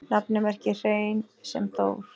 Nafnið merkir hrein sem Þór